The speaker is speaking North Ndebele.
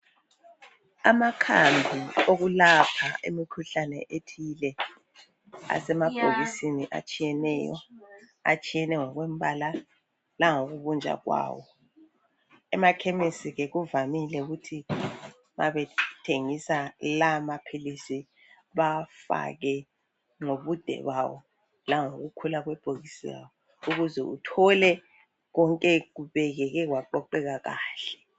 Amakhambi okulapha imkhuhlane etshiyeneyo asemabhokisi atshiyeneyo, atshiyene ngokombala langokubunjwa kwawo. Emakhemisi ke kuvamile ukuthi ma bethengisa la maphilisi bawafake ngobude bawo langokukhula kwebhokisi lawo, ukuze uthole konke kubekwe kwaqoqeka kahle.